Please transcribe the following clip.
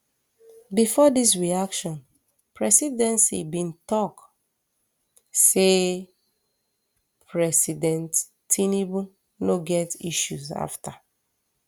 bifor dis reaction presidency bin tok um say president um tinubu no get issues afta